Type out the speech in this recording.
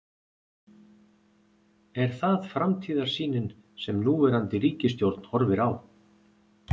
Er það framtíðarsýnin sem núverandi ríkisstjórn horfir á?